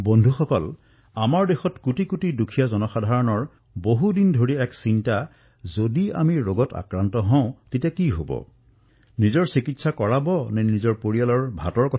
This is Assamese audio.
বন্ধুসকল আমাৰ দেশত কোটি কোটি দুখীয়া লোকক দশকজুৰি এটাই চিন্তাত খুলি খুলি খাইছে যদি বেমাৰ হয় তেন্তে কি হব নিজৰেই চিকিৎসা কৰাব নে পৰিয়ালৰ খোৱাৰ চিন্তা কৰিব